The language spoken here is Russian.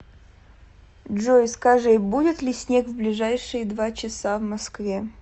джой скажи будет ли снег в ближайшие два часа в москве